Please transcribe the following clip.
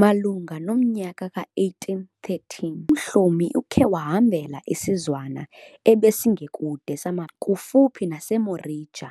Malunga nomnyaka ka 1813, uMhlomi ukhe wahambela isizwana ebesingekude samaPetla, kufuphi naseMorija,